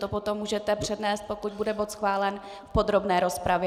To potom můžete přednést, pokud bude bod schválen, v podrobné rozpravě.